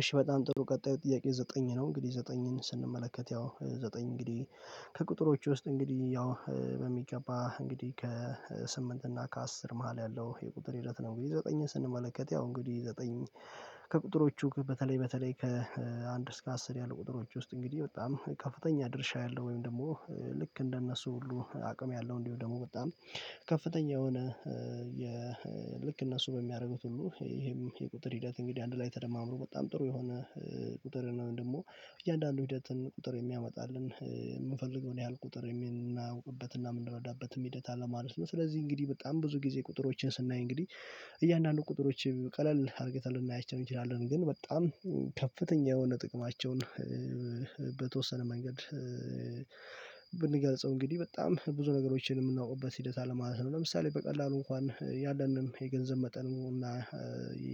እሺ በጣም ጥሩ ቀጣዩ ጥያቄ ዘጠኝ ነው እንግዲህ ዘጠኝን ስንመለከት ያው ዘጠኝ እንግዲህ ከቁጥሮቹ ውስጥ እንግዲህ ያው በሚገባ እንግዲህ ከስምንት እና ከአስር መሃል ያለው የቁጥር ሂደት ነው። እንግዲህ ዘጠኝ ስንመለከት ያው እንግዲህ ዘጠኝ ከቁጥሮቹ በተለይ በተለይ ከአንድ እስከ አስር ያሉ ቁጥሮች ውስጥ እንግዲህ በጣም ከፍተኛ ድርሻ ያለው ወይም ደግሞ ልክ እንደነሱ ሁሉ አቅም ያለው እንዲሁ ደግሞ ወጣ ነው። ከፍተኛ የሆነ የልክ እነሱ በሚያደርጉት ሁሉ ይሄም የቁጥር ሂደት እንግዲህ አንድ ላይ ተደማምሮ በጣም ጥሩ የሆነ ቁጥር ነው። ደግሞ እያንዳንዱ ሂደትን ቁጥር የሚያመጣልን የምንፈልገውን ያህል ቁጥር የምናውቅበትና የምንረዳበትም ሂደት አለ ማለት ነው። ስለዚህ እንግዲህ በጣም ብዙ ጊዜ ቁጥሮችን ስናይ እንግዲህ እያንዳንዱ ቁጥሮች ቀለል አድርጌታል እናያቸው እንችላለን ግን በጣም ከፍተኛ የሆነ ጥቅማቸውን በተወሰነ መንገድ ብንገልጸው እንግዲህ በጣም ብዙ ነገሮችን የምናውቅበት ሂደት አለማለት ነው። ለምሳሌ በቀላሉ እንኳን ያለንንም የገንዘብ መጠን እና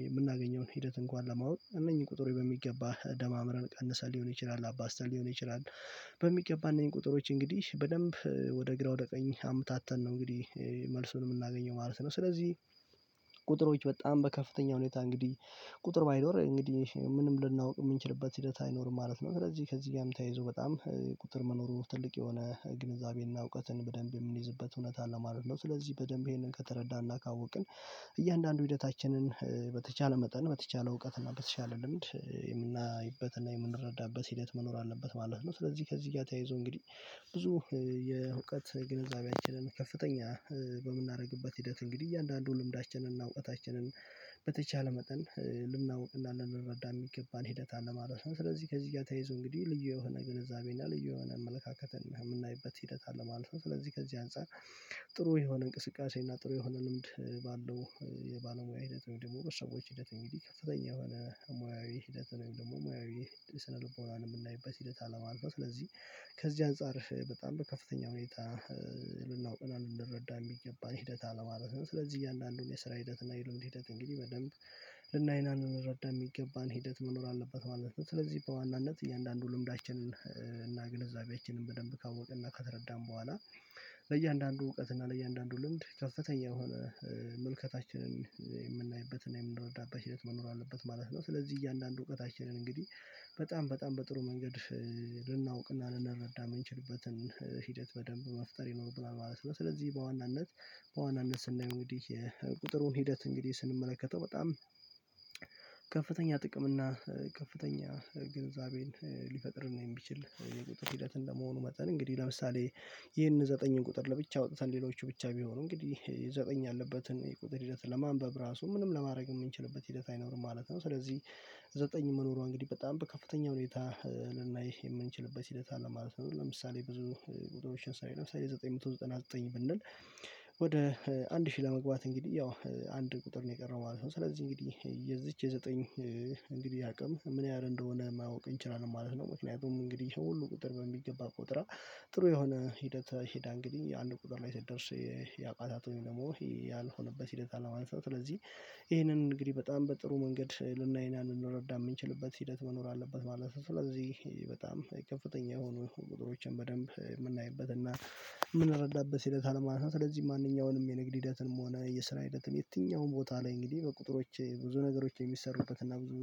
የምናገኘውን ሂደት እንኳን ለማወቅ እነኚህ ቁጥር በሚገባ ደማምረን ቀንሰን ሊሆን ይችላል አባስተን ሊሆን ይችላል በሚገባ ቁጥሮች እንግዲህ በደንብ ወደ ግራ ወደ ቀኝ አምታተን ነው እንግዲህ መልሱን የምናገኘው ማለት ነው። ስለዚህ ቁጥሮች በጣም በከፍተኛ ሁኔታ እንግዲህ ቁጥር ባይኖር እንግዲህ ምንም ልናውቅ የምንችልበት ሂደት አይኖርም ማለት ነው። ስለዚህ ከዚህ ጋርም ተያይዞ በጣም ቁጥር መኖሩ ትልቅ የሆነ ግንዛቤና እውቀትን በደንብ የምንይዝበት እውነት አለ ማለት ነው። ስለዚህ በደንብ ይሄንን ከተረዳን እናካወቅን እያንዳንዱ ሂደታችንን በተቻለ መጠን በተቻለ እውቀት እና በተቻለ ልምድ የምናይበትና የምንረዳበት ሂደት መኖር አለበት ማለት ነው። ስለዚህ ከዚህ ጋር ተያይዞ እንግዲህ ብዙ የእውቀት ግንዛቤያችንን ከፍተኛ በምናደርግበት ሂደት እንግዲህ እያንዳንዱ ልምዳችንን እና እውቀታችንን በተቻለ መጠን ልናወራ ልንረዳ የሚገባን ሂደት አለ ማለት ነው። ስለዚህ ከዚህ ጋር ተይዞ እንግዲህ ልዩ የሆነ ግንዛቤ ልዩ የሆነ አመለካከትና የምናይበት ሂደት አለ ማለት ነው። ስለዚህ ከዚህ አንፃር ጥሩ የሆነ እንቅስቃሴ እና ጥሩ የሆነ ልምድ ባለው የባለሙያ ሂደት ወይም ደግሞ ሰዎች ሂደት እንግዲህ ከፍተኛ የሆነ ሙያዊ ሂደት ወይም ደግሞ ሙያዊ ስነልቦናን የምናይበት ሂደት አለማለፍ ነው። ስለዚህ ከዚህ አንፃር በጣም በከፍተኛ ሁኔታ ልናውቅ እና ልንረዳ የሚገባ ሂደት አለማለት ነው። ስለዚህ እያለ አለን የስራ ሂደት እና የልምድ ሂደት እንግዲህ በደንብ ልናይና እንረዳ የሚገባን ሂደት መኖር አለበት ማለት ነው። ስለዚህ በዋናነት እያንዳንዱ ልምዳችንን እና ግንዛቤያችንን በደንብ ካወቀና ካተረዳን በኋላ ለእያንዳንዱ እውቀት እና ለእያንዳንዱ ልምድ ከፍተኛ የሆነ መልከታችንን የምናይበትን የምንረዳበት ሂደት መኖር አለበት ማለት ነው። ስለዚህ እያንዳንዱ እውቀታችንን እንግዲህ በጣም በጣም በጥሩ መንገድ ልናውቅና ልንረዳ የምንችልበትን ሂደት በደንብ መፍጠር ይኖርብናል ማለት ነው። ስለዚህ በዋናነት በዋናነት ስናይ እንግዲህ የቁጥሩን ሂደት እንግዲህ ስንመለከተው በጣም ከፍተኛ ጥቅም እና ከፍተኛ ግንዛቤን ሊፈቅድን ነው የሚችል የቁጥር ሂደት እንደመሆኑ መጠን እንግዲህ ለምሳሌ ይህን ዘጠኝ ቁጥር ለብቻ አውጥተን ሌሎች ብቻ ቢሆኑ እንግዲህ ዘጠኝ ያለበትን የቁጥር ሂደት ለማንበብ ራሱ ምንም ለማድረግ የምንችልበት ሂደት አይኖርም ማለት ነው። ስለዚህ ዘጠኝ መኖሯ እንግዲህ በጣም በከፍተኛ ሁኔታ ልናይ የምንችልበት ሂደት አለ ማለት ነው። ለምሳሌ ብዙ ቁጥሮችን ሳይል ለምሳሌ ዘጠኝ መቶ ዘጠና ዘጠኝ ብንል ወደ አንድ ሺህ ለመግባት እንግዲህ ያው አንድ ቁጥር ነው የቀረው ማለት ነው ስለዚህ እንግዲህ የዚች የዘጠኝ እንግዲህ አቅም ምን ያህል እንደሆነ ማወቅ እንችላለን ማለት ነው። ምክንያቱም እንግዲህ ሰው ሁሉ ቁጥር በሚገባ ቁጥር ጥሩ የሆነ ሂደት ሂዳ እንግዲህ አንድ ቁጥር ላይ ሲደርስ ያቋታቱኝ ደግሞ ያልሆነበት ሂደት አላማ አንስቶ ስለዚህ ይሄንን እንግዲህ በጣም በጥሩ መንገድ ልናይ እና ልንረዳም የምንችልበት ሂደት መኖር አለበት ማለት ነው። ስለዚህ በጣም ከፍተኛ የሆኑ ቁጥሮችን በደንብ የምናይበት እና የምንረዳበት እንረዳበት ሂደት አለማለት ስለዚህ ማንኛውንም የንግድ ሂደትንም ሆነ የስራ ሂደትንም የትኛውም ቦታ ላይ እንግዲህ በቁጥሮች ብዙ ነገሮች የሚሰሩበትና ብዙ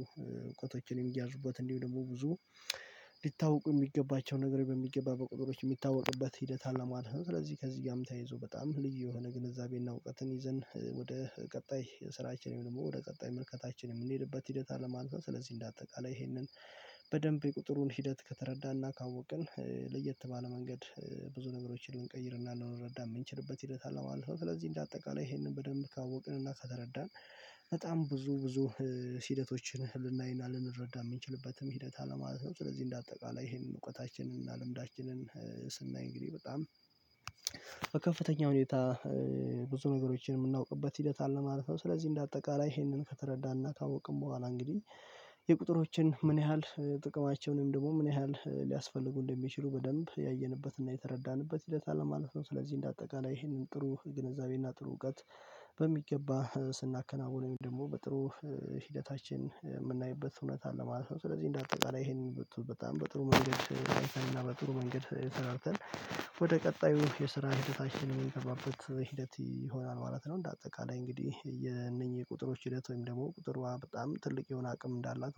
እውቀቶችን እያዙበት እንዲሁ ደግሞ ብዙ ሊታወቁ የሚገባቸው ነገር በሚገባ ቁጥሮች የሚታወቅበት ሂደት አለ ማለት ነው። ስለዚህ ከዚህ ጋርም ተይዞ በጣም ልዩ የሆነ ግንዛቤና እውቀትን ይዘን ወደ ቀጣይ ስራችን ደግሞ ወደ ቀጣይ ምርከታችንም የምንሄድበት ሂደት አለማለት ስለዚህ እንደ አጠቃላይ ይሄንን በደንብ የቁጥሩን ሂደት ከተረዳና ካወቅን ለየት ባለ መንገድ ብዙ ነገሮችን ልንቀይርና ልንረዳ የምንችልበት ሂደት አለው አልፈው ስለዚህ እንደ አጠቃላይ ይሄንን በደንብ ካወቅንና ከተረዳን በጣም ብዙ ብዙ ሂደቶችን ልናይና ልንረዳ የምንችልበትም ሂደት አለ ማለት ነው። ስለዚህ እንደ አጠቃላይ ይሄንን እውቀታችንን እና ልምዳችንን ስናይ እንግዲህ በጣም ከፍተኛ ሁኔታ ብዙ ነገሮችን የምናውቅበት ሂደት አለ ማለት ነው። ስለዚህ እንደ አጠቃላይ ይሄንን ከተረዳና ካወቅን በኋላ እንግዲህ የቁጥሮችን ምን ያህል ጥቅማቸውንም ደግሞ ምን ያህል ሊያስፈልጉ እንደሚችሉ በደንብ ያየንበትና የተረዳንበት ሂደት አለ ማለት ነው። ስለዚህ እንደ አጠቃላይ ይህንን ጥሩ ግንዛቤና ጥሩ እውቀት በሚገባ ስናከናውነኝ ደግሞ በጥሩ ሂደታችን የምናይበት እውነት አለ ማለት ነው። ስለዚህ እንደ አጠቃላይ ይሄንን በጣም በጥሩ መንገድ እና በጥሩ መንገድ ሰራርተን ወደ ቀጣዩ የስራ ህይወታችን ምን ይሆናል ማለት ነው። እንደ አጠቃላይ እንግዲህ የነኚህ ቁጥሮች ሂደት ወይም ደግሞ ቁጥር በጣም ትልቅ የሆነ አቅም እንዳላት